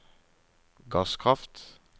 gasskraft